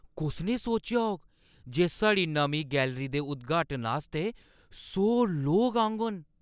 कुसनै सोचेआ होग जे साढ़ी नमीं गैलरी दे उद्घाटन आस्तै सौ लोक औङन?